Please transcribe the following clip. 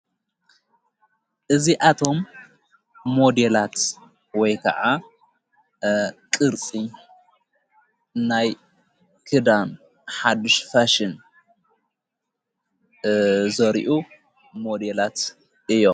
እዙኣቶም ሞዲላት ወይ ከዓ ቕርፂ ናይ ክዳን ሓድሽ ፋሽን ዘሪኡ ሞዴላት እዮም ::